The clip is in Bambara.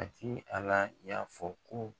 Matigi Ala y'a fɔ ko